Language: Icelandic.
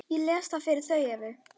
Ég les það fyrir Evu.